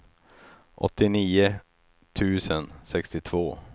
åttionio tusen sextiotvå